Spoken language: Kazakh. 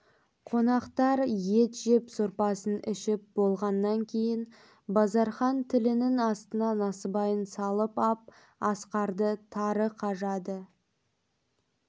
қонақтар ет жеп сорпасын ішіп болғаннан кейін базархан тілінің астына насыбайын салып ап асқарды тары қажады